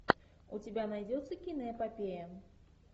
у тебя найдется киноэпопея